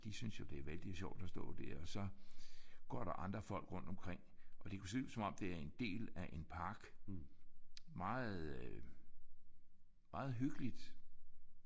De synes jo det er vældigt sjovt at stå der og så går der andre folk rundt omkring. Og det kunne se ud som om det er en del af en park. Meget øh meget hyggeligt